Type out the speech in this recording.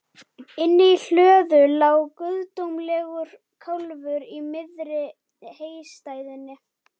Inni í hlöðu lá guðdómlegur kálfur í miðri heystæðunni.